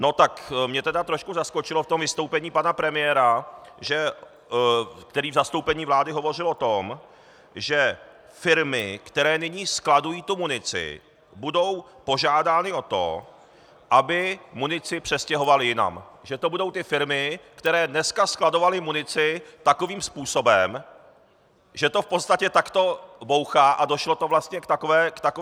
No tak mě teda trošku zaskočilo v tom vystoupení pana premiéra, který v zastoupení vlády hovořil o tom, že firmy, které nyní skladují tu munici, budou požádány o to, aby munici přestěhovaly jinam, že to budou ty firmy, které dneska skladovaly munici takovým způsobem, že to v podstatě takto bouchá a došlo to vlastně k takové situaci.